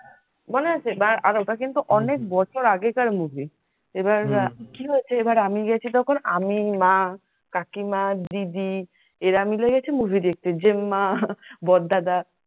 মনে আছে আর ওটা কিন্তু অনেক বছর আগেকার movie এবার কি হয়েছে আমি গেছি তখন আমি, মা, কাকিমা, দিদি এরা মিলে গেছে movie দেখতে যেমমা, বড় দাদা।